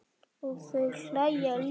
Og þau hlæja líka.